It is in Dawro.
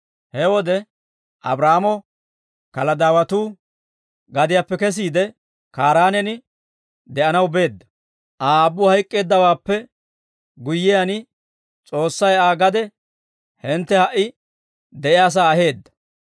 He wode Abraahaamo Kaladaawatuu gadiyaappe kesiide, Kaaraanen de'anaw beedda. Aa aabbu hayk'k'eeddawaappe guyyiyaan, S'oossay Aa ha gade hintte ha"i de'iyaasaa aheedda.